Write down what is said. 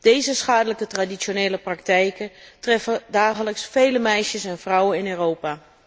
Deze schadelijke traditionele praktijken treffen dagelijks vele meisjes en vrouwen in Europa.